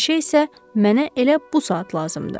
Kirşə isə mənə elə bu saat lazımdır.